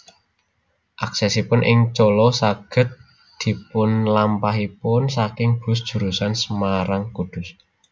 Aksesipun ing Colo saged dipunlampahipun saking bus jurusan Semarang Kudus